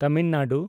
Tamil Nadu